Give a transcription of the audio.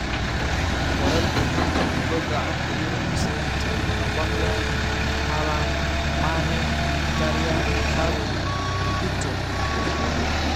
Wararka xanta kubbadda cagta Yurub Isniinta: Aubameyang, Haaland, Mane, Mkhitaryan, Xavi, Heaton